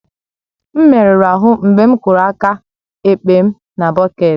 M merụrụ ahụ mgbe m kụrụ aka ekpe m na bọket